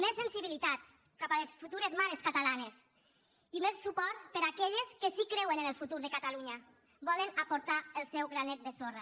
més sensibilitat cap a les futures mares catalanes i més suport per a aquelles que sí que creuen en el futur de catalunya volen aportar el seu granet de sorra